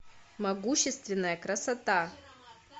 могущественная красота